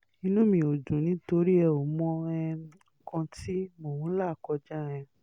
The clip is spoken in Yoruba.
inú mi ò dùn nítorí ẹ ò mọ um nǹkan tí mò ń là kọjá um